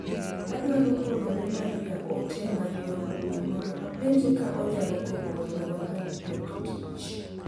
Adwaro oro ne Maria ote mar yor mbui mondo apenje ka onyalo gombo mondo warom tok tich.